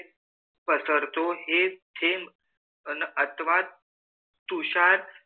पसरतो. हे थेंब अथवा तुषार,